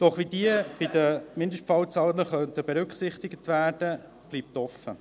Doch wie diese in den Mindestfallzahlen berücksichtigt werden könnten, bleibt offen.